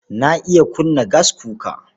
Na iya kunna gaskuka.